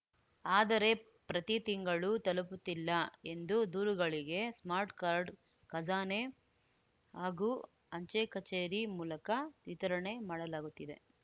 ಆದರೆ ಪ್ರತಿ ತಿಂಗಳು ತಲುಪುತ್ತಿಲ್ಲ ಎಂದು ದೂರುಗಳಿಗೆ ಸ್ಮಾರ್ಟ್‌ ಕಾರ್ಡ್‌ ಖಜಾನೆ ಹಾಗೂ ಅಂಚೆ ಕಚೇರಿ ಮೂಲಕ ವಿತರಣೆ ಮಾಡಲಾಗುತ್ತಿದೆ